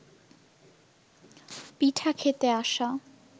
পিঠা খেতে আসা